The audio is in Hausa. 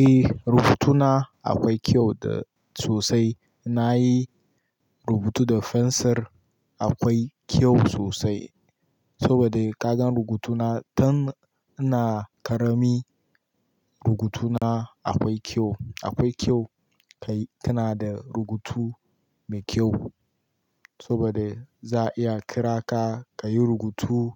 Eh, rubutuna akwai kyau da, sosai. Na yi rubutu da fensir, akwai kyau sosai, saboda ka gan rubutuna tan ina karami rubutuna akwai kyau. Akwai kyau ka-- kana da rubutu mai kyau saboda za'a iya kira ka ka yi rubutu